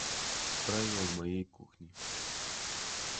правила моей кухни